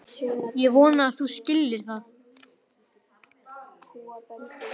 Ég vona að þú skiljir það.